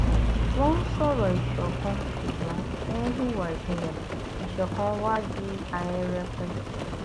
wọn ń sọrọ ìṣọkan ṣùgbọn wọn ń hùwà ìpínyà ìṣọkan wàá di ahẹrẹpẹ